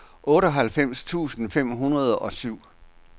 otteoghalvfems tusind fem hundrede og syv